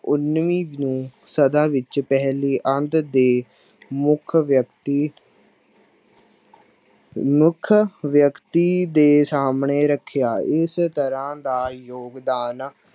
ਉੱਨੀ ਨੂੰ ਸਦਾ ਵਿੱਚ ਪਹਿਲੀ ਅੱਧ ਦੇ ਮੁੱਖ ਵਿਅਕਤੀ ਮੁੱਖ ਵਿਅਕਤੀ ਦੇ ਸਾਹਮਣੇ ਰੱਖਿਆ ਇਸ ਤਰ੍ਹਾਂ ਦਾ ਯੋਗਦਾਨ